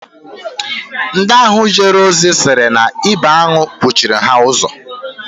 Ndị ahụ jere ozi sịrị na ibi aṅụ kwuchiiri ha ụzọ